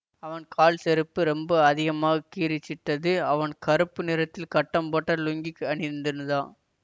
அவன் கால் செருப்பு ரொம்ப அதிகமாக கீறிச்சிட்டது அவன் கறுப்பு நிறத்தில் கட்டம் போட்ட லுங்கி அணிந்திருந்தா